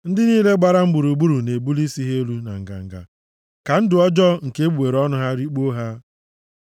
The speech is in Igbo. Ndị niile gbara m gburugburu na-ebuli isi ha elu na nganga ka ndụ ọjọọ nke egbugbere ọnụ ha rikpuo ha.